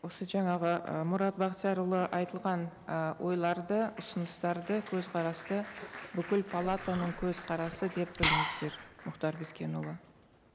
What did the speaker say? осы жаңағы ы мұрат бақтиярұлы айтылған і ойларды ұсыныстарды көзқарасты бүкіл палатаның көзқарасы деп біліңіздер мұхтар бескенұлы